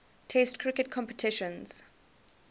test cricket competitions